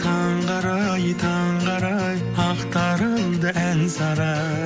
таңғы арай таңғы арай ақтарылды ән сарай